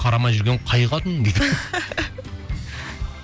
қарамай жүрген қай қатын дейді